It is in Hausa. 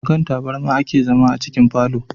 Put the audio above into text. A kan taburma a ke zama a cikin falo da